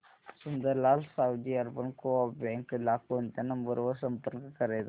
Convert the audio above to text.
Sundarlal Savji urban co-op bank ला कोणत्या number वर संपर्क करायचा